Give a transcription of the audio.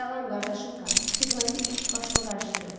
Salam qardaşım Kap, xidməti iş başımı qarışdırıb.